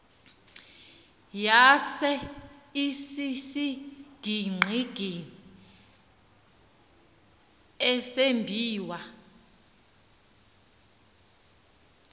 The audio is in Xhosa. yaye isisigingqi esambiwa